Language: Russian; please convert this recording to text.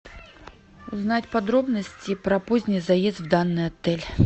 узнать подробности про поздний заезд в данный отель